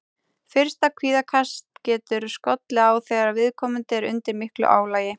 Fyrsta kvíðakast getur skollið á þegar viðkomandi er undir miklu álagi.